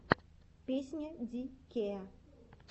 песня ди кея